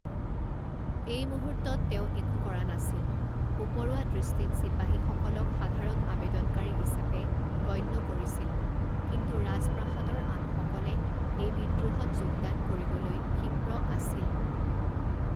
এই মুহূৰ্তত তেওঁ একো কৰা নাছিল, উপৰুৱা দৃষ্টিত চিপাহীসকলক সাধাৰণ আবেদনকাৰী হিচাপে গণ্য কৰিছিল, কিন্তু ৰাজপ্ৰাসাদৰ আনসকলে এই বিদ্ৰোহত যোগদান কৰিবলৈ ক্ষিপ্ৰ আছিল।